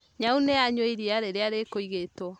Nyaũnĩ anyua iria rĩrĩa rĩkũigĩtwo